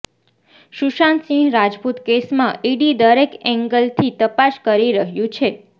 સુશાંત સિંહ રાજપૂત કેસમાં ઈડી દરેક એંગલથી તપાસ કરી રહ્યુ છે